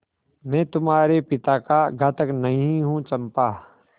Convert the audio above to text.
मैं तुम्हारे पिता का घातक नहीं हूँ चंपा